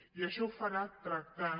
i això ho farà tractant